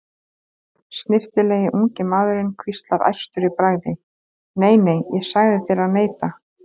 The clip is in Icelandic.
Snyrtilegi ungi maðurinn hvíslar æstur í bragði: Nei, nei, ég sagði þér að neita